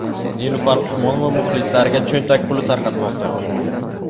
Nilufar Usmonova muxlislariga cho‘ntak puli tarqatmoqda.